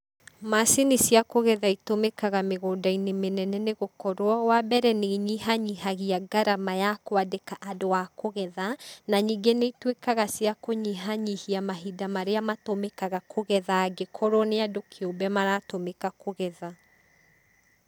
Macini cia kũgetha itũmĩkaga mĩgunda-inĩ mĩnene nĩ gũkorwo, wa mbere nĩ inyihanyihagia ngarama ya kwandĩka andũ a kũgetha, na ningĩ nĩ ituĩkaga cia kũnyihanyihia mahinda marĩa matũmĩkaga kũgetha angĩkorwo nĩ andũ kĩũmbe maratũmĩka kũgetha.